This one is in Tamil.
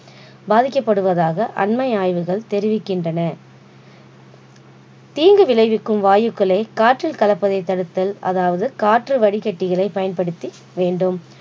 பாதிகப்படுவதாக அண்மை ஆய்வுகள் தெரிவிக்கின்றன தீங்கு விளைவிக்கும் வாயுக்களை காற்றில் கலப்பதை தடுத்தல அதாவது காற்று வடிகட்டிகளை பயன்படுத்தி வேண்டும்